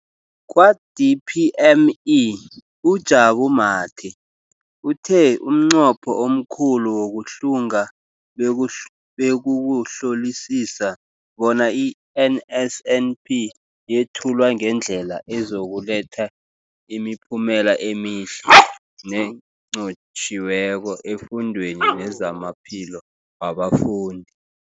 Kwa-DPME, uJabu Mathe, uthe umnqopho omkhulu wokuhlunga bekukuhlolisisa bona i-NSNP yethulwa ngendlela ezokuletha imiphumela emihle nenqotjhiweko efundweni nezamaphilo wabafundi.